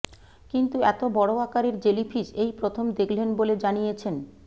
কিন্তু এত বড় আকারের জেলিফিস এই প্রথম দেখলেন বলে জানিয়েছেন